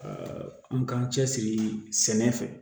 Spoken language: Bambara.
an k'an cɛ siri sɛnɛ fɛ